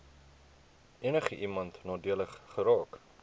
enigiemand nadelig geraak